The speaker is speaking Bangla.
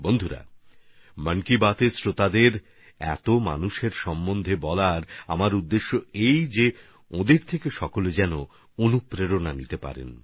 বন্ধুগণ মন কি বাতএর শ্রোতাদের এসব মানুষদের সম্পর্কে জানানোর পেছনে আমার উদ্দেশ্য হল আমরা যেন তাঁদের থেকে প্রেরণা পেতে পারি